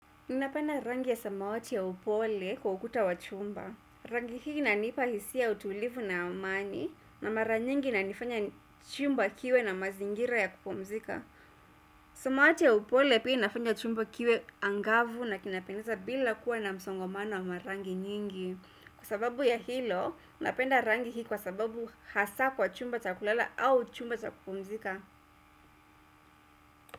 Ninapenda rangi ya samawati ya upole kwa ukuta wa chumba. Rangi hii inanipa hisia utulivu na amani na mara nyingi inanifanya chumba kiwe na mazingira ya kupumzika. Samawati ya upole pia inafanya chumba kiwe angavu na kinapendeza bila kuwa na msongomano wa marangi nyingi. Kwa sababu ya hilo, napenda rangi hii kwa sababu hasa kwa chumba cha kulala au chumba cha kupumzika.